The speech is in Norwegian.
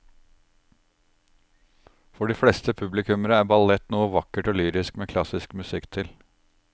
For de fleste publikummere er ballett noe vakkert og lyrisk med klassisk musikk til.